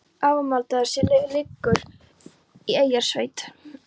Arnardal og sem leið liggur í Eyrarsveit.